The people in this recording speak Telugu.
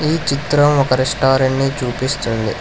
ఈ చిత్రం ఒక రెస్టారెంట్ ని చూపిస్తుంది.